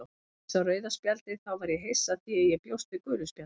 Þegar ég sá rauða spjaldið þá var ég hissa því ég bjóst við gulu spjaldi,